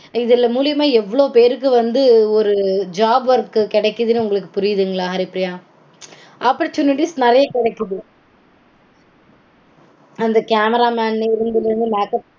இதுல மூலியமா எவ்ளோ பேருக்கு வந்து ஒரு job work கெடைக்குதுனு உங்களுக்கு புரியுதுங்களா ஹரிப்பிரியா? Oppertunities நெறைய கெடைக்குது. அந்த கேமராமேன் இருந்து